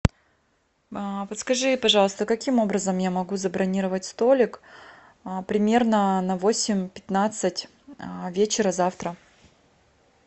подскажи пожалуйста каким образом я могу забронировать столик примерно на восемь пятнадцать вечера завтра